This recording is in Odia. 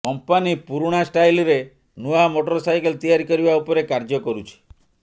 କମ୍ପାନୀ ପୁରୁଣା ଷ୍ଟାଇଲ୍ରେ ନୂଆ ମୋଟର ସାଇକେଲ ତିଆରି କରିବା ଉପରେ କାର୍ଯ୍ୟ କରୁଛି